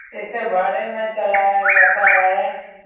इसे भाड़े में चलाया जाता है।